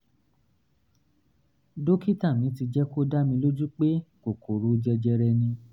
dókítà mi ti jẹ́ kó dá mi lójú pé kókòrò jẹjẹrẹ ni